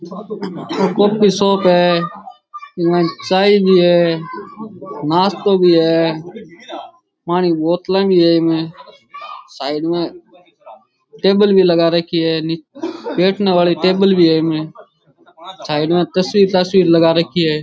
ओ coffee shop है चाय भी है नाश्तों भी है पानी के बोतला भी है इमें साइड में टेबल भी लगा रखी है बैठने वाली टेबल भी है इमे साइड में तस्वीर तस्वीर लगा राखी है